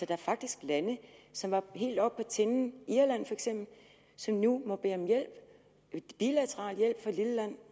er faktisk lande som var helt oppe på tinden irland feks som nu må bede om hjælp bilateral hjælp fra et lille land